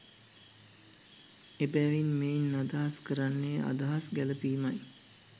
එබැවින් මෙයින් අදහස් කරන්නේ අදහස් ගැළැපීමයි.